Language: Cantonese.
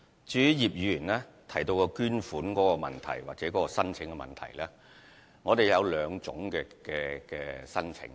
至於葉議員提及的捐款申請問題，我們共有兩類捐款申請。